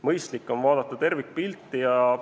Mõistlik on vaadata tervikpilti.